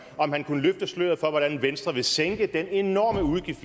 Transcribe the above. om han kunne løfte sløret for hvordan venstre vil sænke den enorme udgift